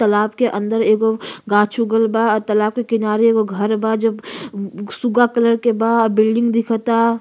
तालाब के अंदर एगो गाछ उगल बा और तालाब के किनारे एगो घर बा जो सुग्गा कलर के बा। बिल्डिंग दिखता।